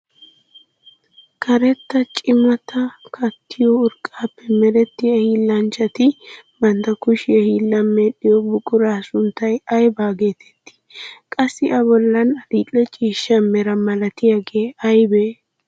Karetta cimataa kattiyo urqqaappe merettiya hiillanchchati bantta kushiya hiillan medhdhiyo buquraa sunttay aybaa getettii? Qassi A bollan adil''e ciishsha mera malatiyaagee aybee?